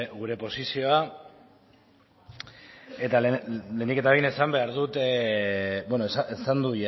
gure posizioa lehenik eta behin esan behar dut esan du